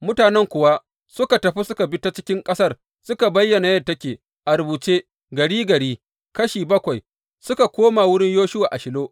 Mutanen kuwa suka tafi suka bi ta cikin ƙasar, suka bayyana yadda take a rubuce, gari gari, kashi bakwai, suka koma wurin Yoshuwa a Shilo.